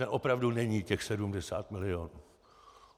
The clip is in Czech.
Ten opravdu není těch 70 milionů.